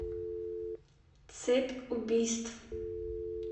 цепь убийств